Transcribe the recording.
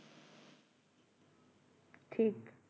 ঠিক